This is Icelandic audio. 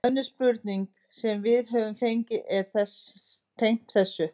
Önnur spurning sem við höfum fengið er tengd þessu: